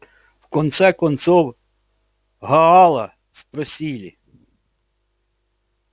в конце концов гаала спросили